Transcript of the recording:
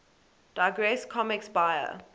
digress comics buyer